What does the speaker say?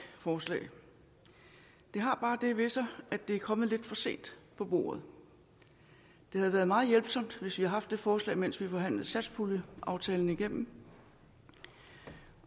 forslag det har bare det ved sig at det er kommet lidt for sent på bordet det havde været meget hjælpsomt hvis vi havde haft det forslag mens vi forhandlede satspuljeaftalen igennem